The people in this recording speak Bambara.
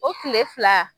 O kile fila